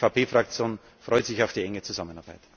Die EVP Fraktion freut sich auf die enge Zusammenarbeit.